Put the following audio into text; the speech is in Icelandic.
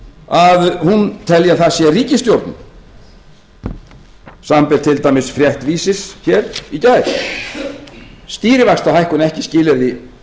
að hún telji að það sé ríkisstjórnin samanber til dæmis frétt vísis í gær stýrivaxtahækkun ekki